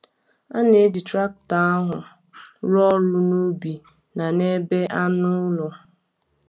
A na-eji traktọ ahụ rụọ ọrụ n’ubi na n’ebe anụ ụlọ.